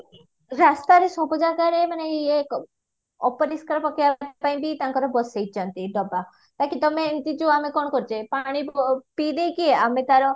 ରାସ୍ତାରେ ସବୁ ଜାଗାରେ ମାନେ ଇଏ ଅପରିଷ୍କାର ପକେଇବା ପାଇଁ ବି ତାଙ୍କର ବସେଇଛନ୍ତି ଡବା ବାକି ତମେ ଏମତି ଯୋଉ ଆମେ କଣ କରୁଛେ ପାଣି ପିଦେଇକି ଆମେ ତାର